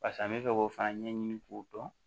Pase an bɛ fɛ k'o fana ɲɛɲini k'o dɔn